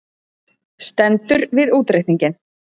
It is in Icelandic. Stendur við útreikninginn